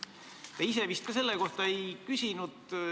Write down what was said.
Te ise ka vist selle kohta ei küsinud.